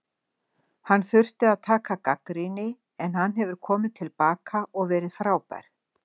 Hann þurfti að taka gagnrýni en hann hefur komið til baka og verið frábær.